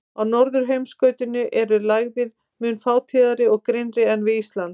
Á norðurheimskautinu eru lægðir mun fátíðari og grynnri en við Ísland.